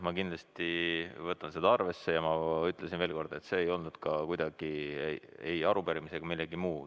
Ma kindlasti võtan seda arvesse ja ütlen veel kord, et see repliik ei puudutanud kuidagi ei arupärimist ega midagi muud.